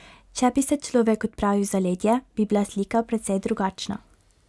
Če bi se človek odpravil v zaledje, bi bila slika precej drugačna.